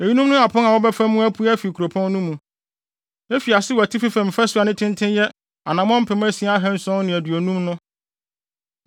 “Eyinom ne apon a wɔbɛfa mu apue afi kuropɔn no mu: “Efi ase wɔ atifi fam fasu a ne tenten yɛ anammɔn mpem asia ahanson ne aduonum (6,750) no,